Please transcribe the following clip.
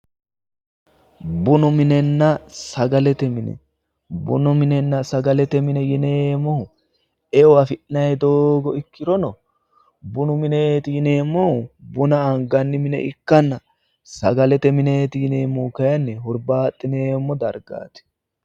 Bunu minenna sagalete mine, bunu minenna sagalete mine yineemmohu eo afi'nanni doogo ikkirono bunu mineeyi yineemmohu buna anganni mine ikkanna, sagalete mineeti yineemmohu kayiinni baaxxineemmo dargaati